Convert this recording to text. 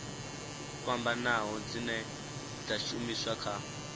fhambanaho dzine dza shumiswa kha